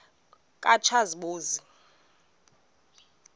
katshazimpuzi